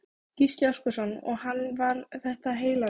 Gísli Óskarsson: Og hann var þetta heillegur?